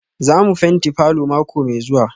Za mu fenti falor mako mai zuwa?